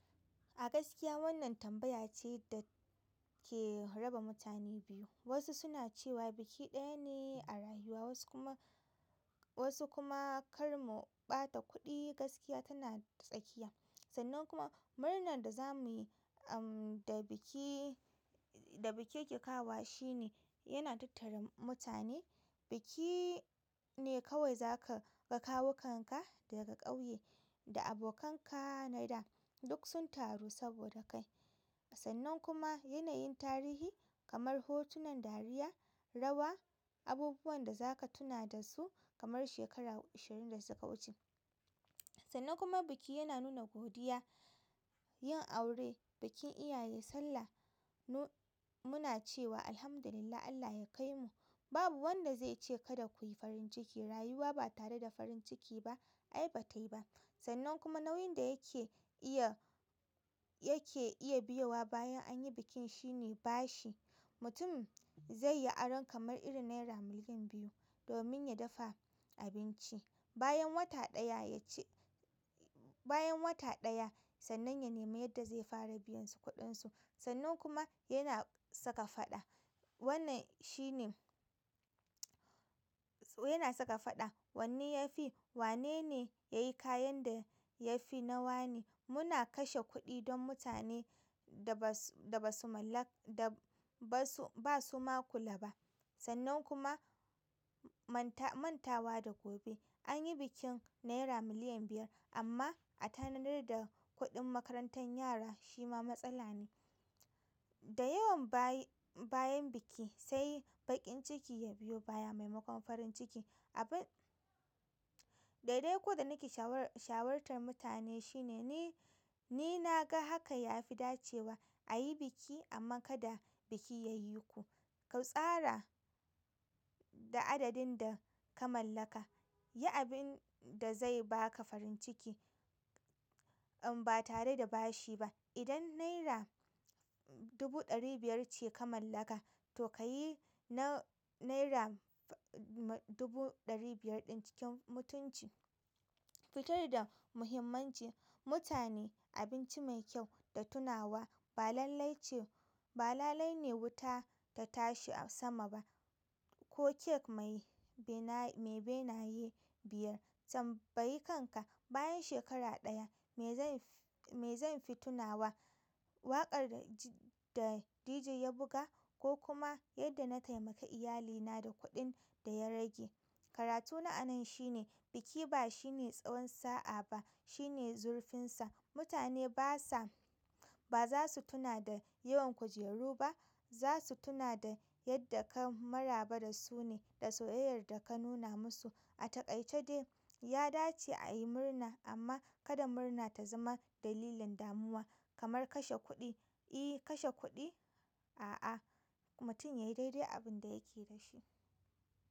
A gaskiya wannan tambaya ce da ke raba mutane biyu. Wasu suna cewa biki ɗaya ne a rayuwa, wasu kuma, wasu kuma kar mu ɓata kuɗi, gaskiya tana tsakiya. Sannan kuma murnar da za mu yi, am, da biki, da biki yake kawowa shi ne yana tattare mutane. Biki ne kawai za ka ga kawukan ka daga ƙauye da abokan ka na da, duk sun taru saboda kai. Sannan kuma yanayin tarihi kamar hotunan dariya, rawa, abubuwan da za ka tuna da su kamar shekaru ashirin da suka wuce. Sannan kuma biki yana nuna godiya. Yin aure, bikin iyaye, Sallah, mu, muna cewa Alhamdulillah, Allah ya kaimu. Babu wanda zai ce kada ku yi farin ciki. Rayuwa ba tare da farin ciki ba ai ba tayi ba. Sannan kuma nauyin da yake iya, yake iya biyowa bayan an yi bikin shi ne bashi. Mutum zai yi aron kamar irin naira miliyan biyu domin ya dafa abinci. Bayan wata ɗaya ya ci-- bayan wata ɗaya sannan ya nemi yadda zai fara biyan su kuɗinsu. Sannan kuma yana saka faɗa. Wannan shi ne yana saka faɗa. Wanne ya fi? Wane ne ya yi kayan da ya fi na wane? Muna kashe kuɗi don mutane da ba su, da ba su mallak-- da ba su, ba su ma kula ba. Sannan kuma manta, manta wa da gobe. An yi bikin naira miliyan biyar amma a tanadar da kuɗin makarantan yara shi ma matsala ne. Da yawan bayi, bayan biki sai baƙin ciki ya biyo baya maimakon farin ciki. Abun. Daidai ko da na ke shawartan mutane shine ni, ni na ga haka ya fi dacewa a yi biki amma kada biki ya yi ku. Ku tsara da adadin da ka mallaka. Yi abin da zai ba ka farin ciki, am, ba tare da bashi ba. Idan naira dubu ɗari biyar ce ka mallaka to ka yi na naira dubu ɗari biyar ɗin cikin mutunci. Fitar da muhimmanci. Mutane abinci mai kyau da tunawa ba lallai ce, ba lalai ne wuta ta tashi a sama ba ko kek mai bena, mai benaye biyar. Tambayi kanka. Bayan shekara ɗaya me zai fi, me zai fi tunawa? Waƙar da di, da dj ya buga ko kuma yadda na taimaka iyalina da kuɗin da ya rage? Karatu na a nan shine biki ba shine tsawon sa'a ba, shine zurfinsa. Mutane ba sa, ba za su tuna da yawan kujeru ba, za su tuna da yadda ka maraba da su ne da soyayyar da ka nuna musu. A taƙaice dai, ya dace a yi murna amma kada murna ta zama dalilin damuwa. Kamar kashe kuɗi? I kashe kuɗi? A'a, mutum yayi daidai abin da yake da shi.